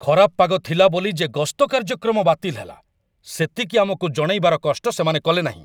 ଖରାପ ପାଗ ଥିଲା ବୋଲି ଯେ ଗସ୍ତ କାର୍ଯ୍ୟକ୍ରମ ବାତିଲ ହେଲା, ସେତିକି ଆମକୁ ଜଣାଇବାର କଷ୍ଟ ସେମାନେ କଲେନାହିଁ।